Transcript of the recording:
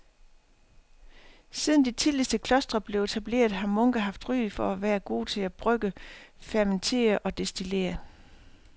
Siden de tidligste klostre blev etableret har munke haft ry for at være gode til at brygge, fermentere og destillere.